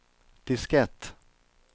diskett